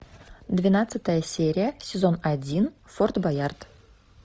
двенадцатая серия сезон один форт боярд